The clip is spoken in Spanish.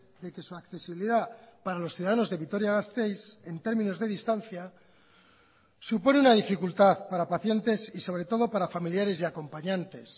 de que su accesibilidad para los ciudadanos de vitoria gasteiz en términos de distancia supone una dificultad para pacientes y sobre todo para familiares y acompañantes